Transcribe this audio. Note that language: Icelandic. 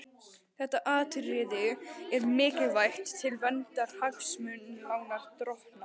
Þetta atriði er mikilvægt til verndar hagsmunum lánardrottna.